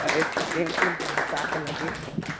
एक ठी टेंट -ऊंट भी का -का लगे हे।